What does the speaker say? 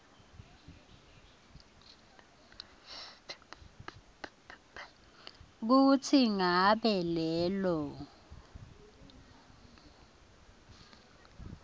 kutsi ngabe lelo